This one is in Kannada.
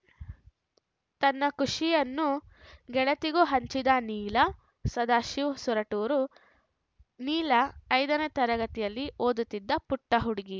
ತನ್ನ ಖುಷಿಯನ್ನು ಗೆಳತಿಗೂ ಹಂಚಿದ ನೀಲ ಸದಾಶಿವ್‌ ಸೊರಟೂರು ನೀಲ ಐದನೇ ತರಗತಿಯಲ್ಲಿ ಓದುತ್ತಿದ್ದ ಪುಟ್ಟಹುಡುಗಿ